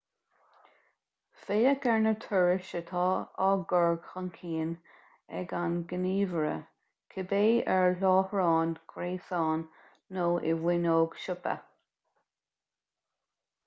féach ar na turais atá á gcur chun cinn ag an ngníomhaire cibé ar láithreán gréasáin nó i bhfuinneog siopa